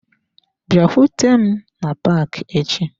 Bịakwute m na paaki echi.